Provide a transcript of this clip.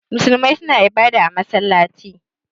Musulmai suna ibada a masallaci.